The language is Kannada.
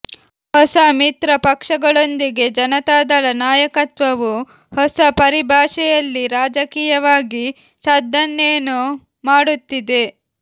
ಹೊಸ ಮಿತ್ರ ಪಕ್ಷಗಳೊಂದಿಗೆ ಜನತಾದಳ ನಾಯಕತ್ವವು ಹೊಸ ಪರಿಭಾಷೆಯಲ್ಲಿ ರಾಜಕೀಯವಾಗಿ ಸದ್ದನ್ನೇನೋ ಮಾಡುತ್ತಿದೆ